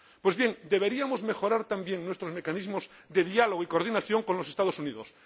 Pues bien, deberíamos mejorar también nuestros mecanismos de diálogo y coordinación con los Estados Unidos.